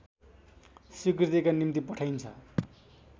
स्वीकृतिका निम्ति पठाइन्छ